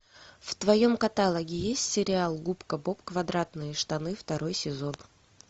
в твоем каталоге есть сериал губка боб квадратные штаны второй сезон